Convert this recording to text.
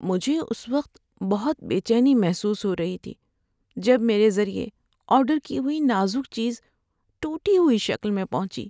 مجھے اس وقت بہت بے چینی محسوس ہو رہی تھی جب میرے ذریعے آرڈر کی ہوئی نازک چیز ٹوٹی ہوئی شکل میں پہنچی۔